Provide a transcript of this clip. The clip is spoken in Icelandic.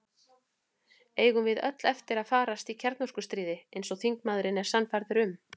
Eigum við öll eftir að farast í kjarnorkustríði, eins og þingmaðurinn er sannfærður um?